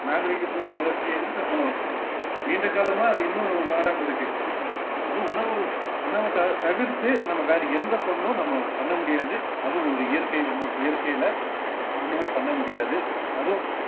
நாகரீகத்தோட வளர்ச்சியேன்னு நம்ம நீண்ட காலமா அது இன்னும் மாறாம இருக்கு அதுவும் உணவு உணவு த~ தவிர்த்து நம்ம வேற எந்த பொருளும் நம்ம பண்ண முடியாது அதுவும் ஒரு இயற்கையின் மொ~ இயற்கையில உணவ பண்ண முடியாது அதுவும்